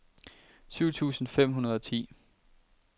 syv tusind fem hundrede og ti